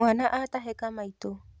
Mwana atahĩka maĩtu.